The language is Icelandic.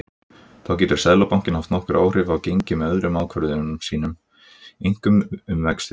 Þá getur Seðlabankinn haft nokkur áhrif á gengi með öðrum ákvörðunum sínum, einkum um vexti.